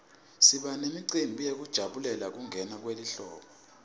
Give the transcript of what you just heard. siba nemicimbi yekujabulela kungena kwelihlobo